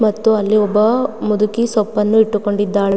ಮತ್ತು ಅಲ್ಲಿ ಒಬ್ಬ ಮುದುಕಿ ಸೊಪ್ಪನ್ನು ಇಟ್ಟುಕೊಂಡಿದ್ದಾಳೆ--